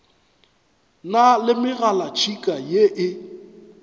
na le megalatšhika ye e